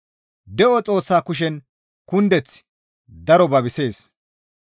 De7o Xoossaa kushen kundeththi daro babisees.